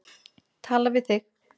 Tala við þig.